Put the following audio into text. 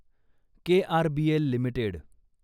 KRBL limited